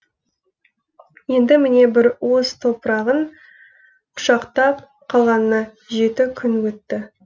енді міне бір уыс топырағын құшақтап қалғанына жеті күн өтті